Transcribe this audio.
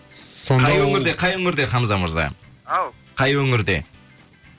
сонда ол қай өңірде қай өңірде хамза мырза ау қай өңірде